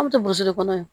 An bɛ to kɔnɔ